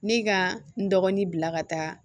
Ne ka n dɔgɔnin bila ka taa